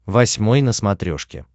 восьмой на смотрешке